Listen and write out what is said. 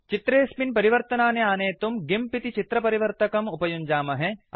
चित्रेऽस्मिन् परिवर्तनानि अनेतुम् गिम्प इति चित्रपरिवर्तकं उपयुञ्जामहे